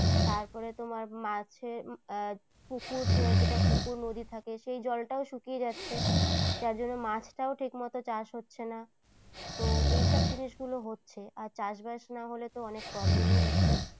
তারপরে তোমার মাছের পুকুর যেটা পুকুর নদী থাকে সেই জলটাও শুকিয়ে যাচ্ছে। যার জন্য মাছটাও ঠিকমত চাষ হচ্ছে না। তো এইসব জিনিসগুলো হচ্ছে, আর চাষবাস না হলে তো অনেক problem ই হচ্ছে।